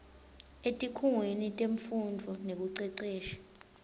etikhungweni temfundvo nekucecesha